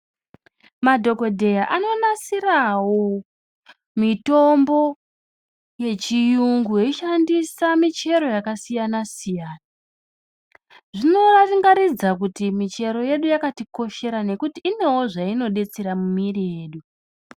Madhokodheya anonasirawo, mitombo yechiyungu, veishandisa michero yakasiyana-siyana. Zvinorangaridza kuti michero yedu yakatikoshera, nekuti inewo zvainodetsera mumwiri yedu.